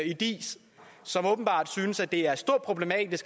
i diis og som åbenbart synes at det er et stort problem